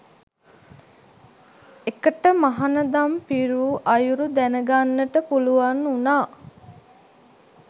එකට මහණදම් පිරූ අයුරු දැනගන්නට පුළුවන් වුණා.